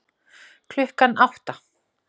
Klukkan átta